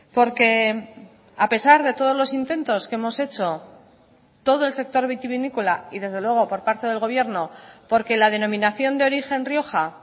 porque a pesar de todos los intentos que hemos hecho todo el sector vitivinícola y desde luego por parte del gobierno porque la denominación de origen rioja